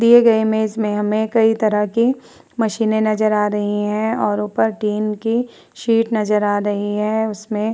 दिए गये इमेज में हमे कई तरह की मशीनें नजर आ रही है और उपर टिन की शीट नजर आ रही है उसमे --